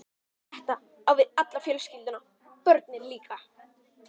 Þetta á við um alla fjölskylduna- börnin líka.